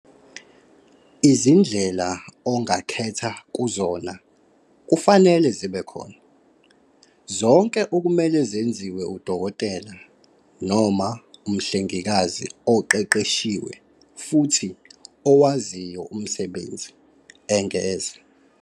"Izindlela ongakhetha kuzona kufanele zibe khona, zonke okumele zenziwe udokotela noma umhlengikazi oqeqeshiwe futhi owaziyo umsebenzi," engeza."